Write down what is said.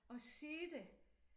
At sige det